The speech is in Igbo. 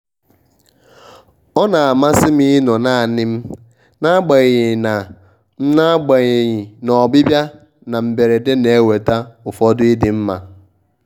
ọ na-amasị m ịnọ naanị m n'agbanyeghị na m n'agbanyeghị na ọbịbịa na mberede na-eweta ụfọdụ ịdịmma